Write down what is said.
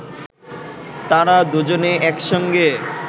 তাঁরা দুজনে একসঙ্গে